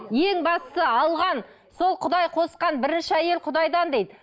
ең бастысы алған сол құдай қосқан бірінші әйел құдайдан дейді